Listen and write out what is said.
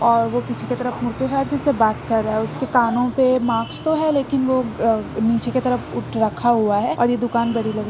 और वो पीछे की तरफ मुड़ के सायद किसी से बात कर रहा है उसके कानो पे मास्क तो है लेकिन वो अ निचे की तरफ रखा हुआ है और ये दुकान बड़ी बड़--